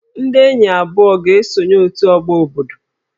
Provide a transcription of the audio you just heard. Ndị enyi abụọ a ga-esonye òtù ọgbọ obodo